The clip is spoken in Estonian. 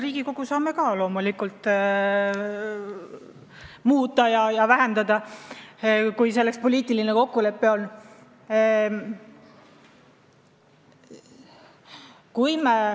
Riigikogu koosseisu saame ka loomulikult vähendada, kui selleks poliitiline kokkulepe on.